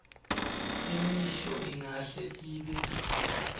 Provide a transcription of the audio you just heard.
imisho ingahle ibe